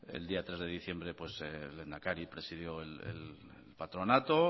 el día tres de diciembre el lehendakari presidió el patronato